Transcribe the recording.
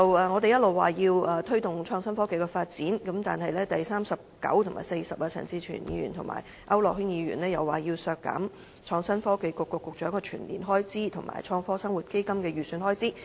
我們一直說要推動創新科技的發展，但是，在修正案編號39和 40， 陳志全議員和區諾軒議員卻提出要削減創新及科技局局長的全年薪酬預算開支，以及"創科生活基金"的預算開支。